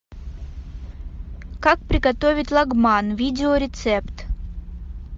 как приготовить лагман видеорецепт